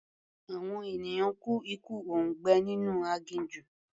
Àwọn ènìyàn kú ikú òǹgbẹ nínú aginjù.